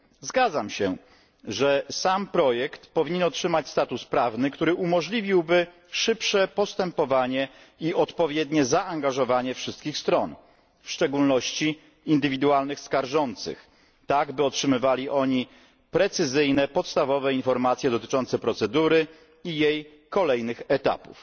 Zgadzam się, że sam projekt powinien otrzymać status prawny, który umożliwiłby szybsze postępowanie i odpowiednie zaangażowanie wszystkich stron, w szczególności indywidualnych skarżących, tak by otrzymywali oni precyzyjne podstawowe informacje dotyczące procedury i jej kolejnych etapów.